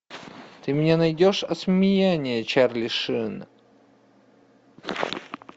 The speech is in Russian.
ты мне найдешь осмеяние чарли шина